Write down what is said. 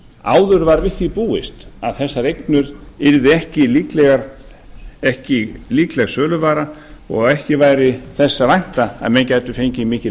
áður var við því búist að þessar eignir yrðu ekki líkleg söluvara og ekki væri þess að vænta að menn gætu fengið mikil